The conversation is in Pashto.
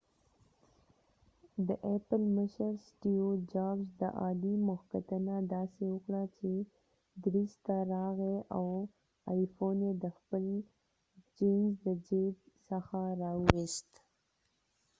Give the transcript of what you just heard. د ایپل مشر سټیو جابز د آلی مخکتنه داسې وکړه چې درېڅ ته راغی او آی فون یې د خپل چېنز د چېب ځخه را وويست